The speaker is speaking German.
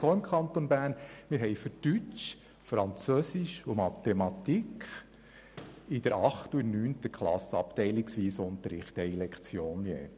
Derzeit haben wir für Deutsch, Französisch und Mathematik abteilungsweisen Unterricht mit je einer Lektion.